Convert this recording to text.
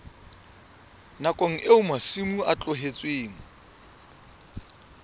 nakong eo masimo a tlohetsweng